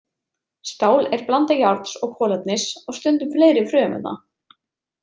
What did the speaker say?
Stál er blanda járns og kolefnis og stundum fleiri frumefna.